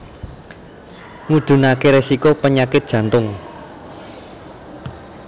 Ngudhunake resiko penyakit jantung